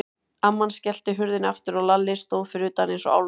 Amman skellti hurðinni aftur og Lalli stóð fyrir utan eins og álfur.